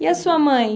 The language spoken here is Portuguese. E a sua mãe?